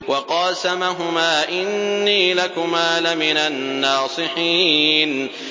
وَقَاسَمَهُمَا إِنِّي لَكُمَا لَمِنَ النَّاصِحِينَ